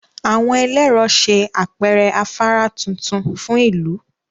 Àwọn ẹlẹ́rọ ṣe àpẹẹrẹ afárá tuntun fún ìlú